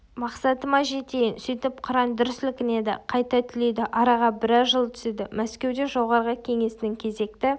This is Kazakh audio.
мақсатыма жетейін сөйтіп қыран дүр сілкінеді қайта түлейді араға біраз жыл түседі мәскеуде жоғарғы кеңесінің кезекті